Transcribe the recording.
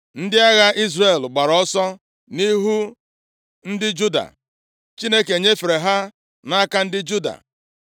Ndị agha Izrel gbara ọsọ nʼihu ndị Juda, Chineke nyefere ha nʼaka ndị Juda.